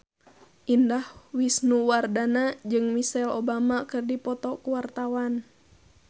Indah Wisnuwardana jeung Michelle Obama keur dipoto ku wartawan